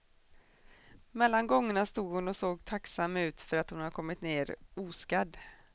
Mellan gångerna stod hon och såg tacksam ut, för att hon kommit ner oskadd.